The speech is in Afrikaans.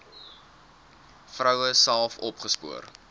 vroue self opgespoor